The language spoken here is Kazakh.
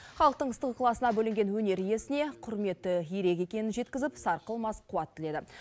халықтың ыстық ықыласына бөленген өнер иесіне құрметі ерек екенін жеткізіп сарқылмас қуат тіледі